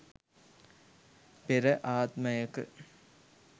පෙර ආත්මයක